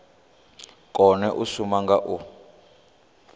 kone u shuma nga u